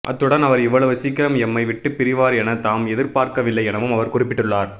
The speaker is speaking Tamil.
அத்துடன் அவர் இவ்வளவு சீக்கிரம் எம்மை விட்டு பிரிவார் என தாம் எதிர்பார்க்கவில்லை எனவும் அவர் குறிப்பிட்டுள்ளார்